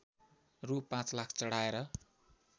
रु पाँच लाख चढाएर